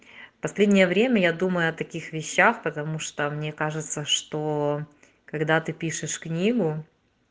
последнее время я думаю о таких вещах потому что мне кажется что когда ты пишешь книгу